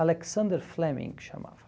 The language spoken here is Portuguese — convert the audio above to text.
Alexander Fleming que chamava.